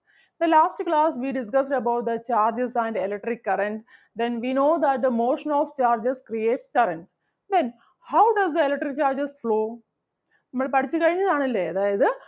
So, last class we discussed about the charges and electric current. Then we know that the motion of charges creates current. Then how does the electric charges flow? മ്മള് പഠിച്ചു കഴിഞ്ഞതാണല്ലേ? അതായത്